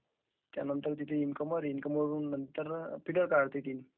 त्यावरून incomer... is not clear